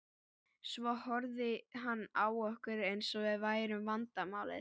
Svo horfði hann á okkur eins og við værum vandamálið.